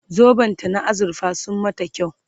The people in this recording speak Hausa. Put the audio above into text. zoben ta na azurfa sun mata kyau